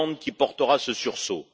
Hollande qui portera ce sursaut.